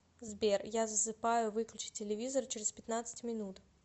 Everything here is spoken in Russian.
сбер я засыпаю выключи телевизор через пятнадцать минут